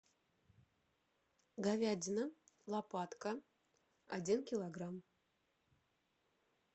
говядина лопатка один килограмм